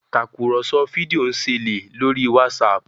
Tàkùrọ̀sọ fídíò nṣele lórí Whatsapp